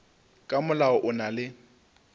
ka molao o na le